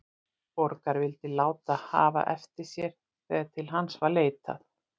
Borgar, vildi láta hafa eftir sér þegar til hans var leitað,.